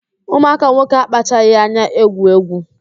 Ụmụaka nwoke akpachaghị anya egwu egwu